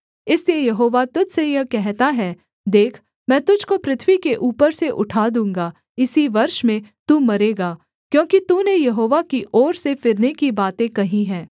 इसलिए यहोवा तुझ से यह कहता है देख मैं तुझको पृथ्वी के ऊपर से उठा दूँगा इसी वर्ष में तू मरेगा क्योंकि तूने यहोवा की ओर से फिरने की बातें कही हैं